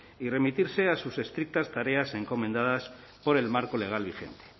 y remitirse a sus estrictas tareas encomendadas por el marco legal vigente